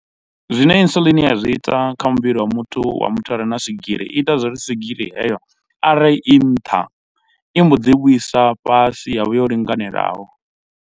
Zwine Insulin ya zwi ita kha muvhili wa muthu wa muthu a re na swigiri i ita zwo ri swigiri heyo arali i nṱha i mbo ḓi i vhuisa fhasi ya vha yo linganelaho.